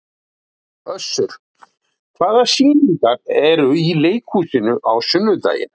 Össur, hvaða sýningar eru í leikhúsinu á sunnudaginn?